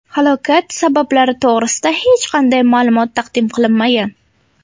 Halokat sabablari to‘g‘risida hech qanday ma’lumot taqdim qilinmagan.